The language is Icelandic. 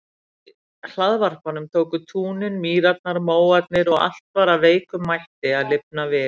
Við hlaðvarpanum tóku túnin mýrarnar móarnir og allt var af veikum mætti að lifna við.